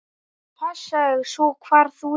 Passaðu svo hvar þú lemur.